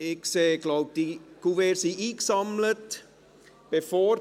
Ich sehe, dass die Kuverts eingesammelt wurden.